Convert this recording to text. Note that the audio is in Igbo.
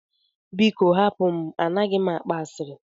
Biko hapụ m, A naghị m akpa ashịrị.